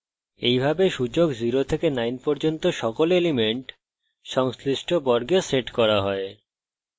এইভাবে সূচক 0 থেকে 9 পর্যন্ত সকল elements সংশ্লিষ্ট বর্গে set করা হয়